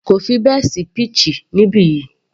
Kò fi bẹ́ẹ̀ sí peach níbi yìí